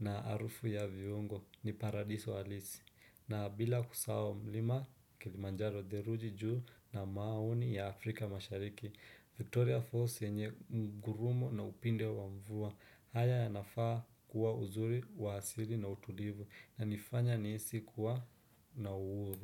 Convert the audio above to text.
na harufu ya viungo ni paradiso halisi. Na bila kusahau mlima kilimanjaro theluji juu na maoni ya Afrika mashariki Victoria Falls yenye ngurumo na upinde wa mvua haya yanafaa kuwa uzuri wa asili na utulivu yanifanya nihisi kuwa na uhuru.